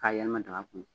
K'a yɛlɛma daga kɔnɔ